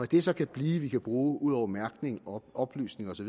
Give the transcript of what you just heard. det så kan blive vi kan bruge ud over mærkning og oplysning osv